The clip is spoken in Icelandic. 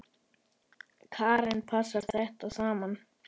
Karen: Passar þetta saman?